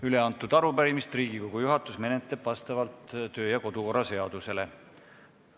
Üleantud arupärimist menetleb Riigikogu juhatus vastavalt kodu- ja töökorra seadusele.